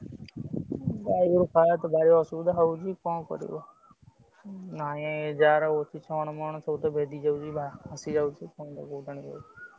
ଉଁ ଗାଈଗୋରୁ ଖାଇଆକୁ ତ ଭାରି ଅସୁବିଧା ହଉଛି କଣ କରିବ। ନାଇଁ ଯାହାର ଅଛି ଛଣ ମଣ ସବୁତ ଭେଜି ଯାଉଚି ଭା ଭାସି ଯାଉଚି। ।